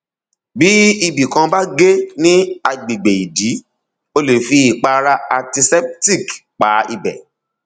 bí ibì kan bá gé ní agbègbè ìdí o lè fi ìpara anticeptic pa ibẹ